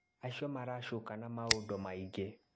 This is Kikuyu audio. Acio maracukana maũndũ maingĩ.